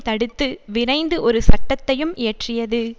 தடுத்து விரைந்து ஒரு சட்டத்தையும் இயற்றியது